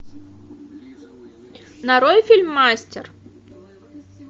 нарой фильм мастер